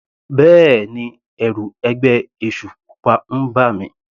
Bẹ́ẹ̀ni, ẹ̀rù ẹgbẹ́ èṣù pupa ń bà mí.